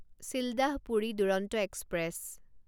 Sealdah Puri Duronto express